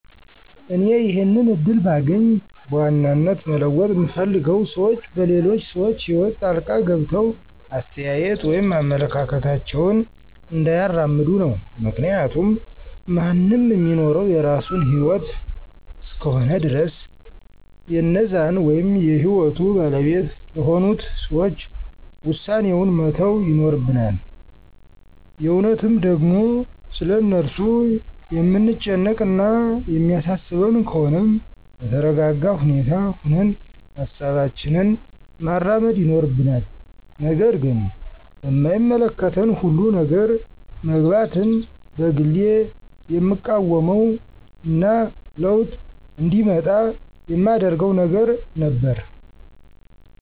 እኔ ይሄንን እድል ባገኝ በዋናነት መለወጥ ምፈልገው ሰዎች በሌሎች ሰዎች ህይወት ጣልቃ ገብተው አስተያየት ወይም አመለካከታቸውን እንዳያራምዱ ነው። ምክንያቱም ማንም ሚኖረው የራሱን ህይወት እስከሆነ ድረስ የእነዛን ወይም የህይወቱ ባለቤት ለሆኑት ሰዎች ዉሳኔዉን መተው ይኖርብናል። የእውነትም ደግሞ ስለ እነርሱ የምንጨነቅ እና የሚያሳስበን ከሆነም በተረጋጋ ሁኔታ ሁነን ሀሳባችንን ማራመድ ይኖርብናል። ነገር ግን በማይመለከተን ሁሉ ነገር መግባትን በግሌ የምቃወመው እና ለዉጥ እንዲመጣ የማደርገው ነገር ነበር።